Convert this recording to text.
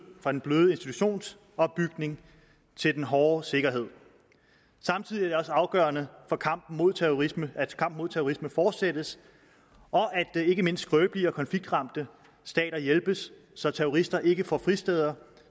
fra den bløde institutionsopbygning til den hårde sikkerhed samtidig er det afgørende at kampen mod terrorisme mod terrorisme fortsættes og at ikke mindst skrøbelige og konfliktramte stater hjælpes så terrorister ikke får fristeder